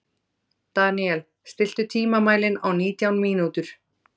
Daniel, stilltu tímamælinn á nítján mínútur.